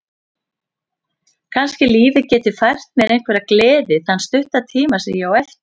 Kannski lífið geti fært mér einhverja gleði þann stutta tíma sem ég á eftir.